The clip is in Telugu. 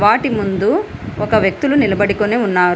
వాటి ముందు ఒక వ్యక్తులు నిలబడుకొనే ఉన్నారు.